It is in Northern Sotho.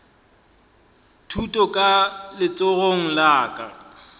thuto ka letsogong la ka